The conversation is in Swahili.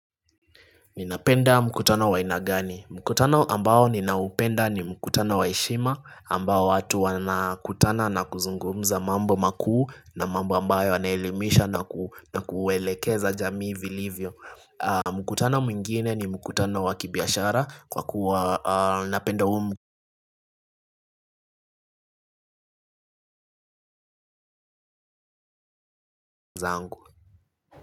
Ninapenda mkutano wa aina gani. Mkutano ambao ninaupenda ni mkutano wa heishima ambao watu wanakutana na kuzungumza mambo makuu na mambo ambayo yanelimisha na kuelekeza jamii vilivyo. Mkutano mwngine ni mkutano wa kibiashara kwa kuwa napenda zangu.